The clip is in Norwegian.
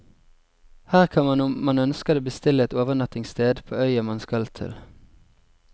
Her kan man om man ønsker det bestille et overnattingssted på øya man skal til.